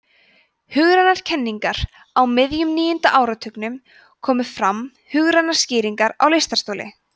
hugrænar kenningar á miðjum níunda áratugnum komu fram hugrænar skýringar á lystarstoli